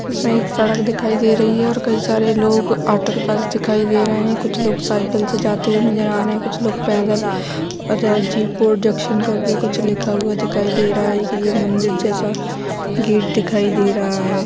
इसमें एक सड़क दिखाई दे रही है और कई सारे लोग ऑटो के पास दिखाई दे रहे है कुछ लोग साईकिल से जाते हुए नजर आ रहे कुछ लोग पैदल अदर जी प्रोडक्टशन करके कुछ लिखा हुआ दिखाई दे रहा है एक ये मन्दिर जैसा गेट दिखाई दे रहा है।